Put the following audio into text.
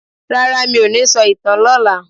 Rara, mí ò ní sọ ìtàn lọla.